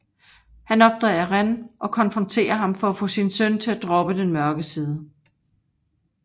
Han opdager Ren og konfronterer ham for at få sin søn til at droppe den mørke side